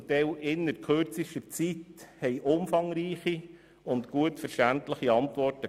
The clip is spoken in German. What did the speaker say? Zum Teil lieferten sie innert kürzester Zeit umfangreiche und verständliche Antworten.